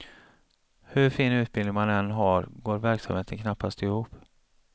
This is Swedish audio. Hur fin utbildning man än har går verksamheten knappast ihop.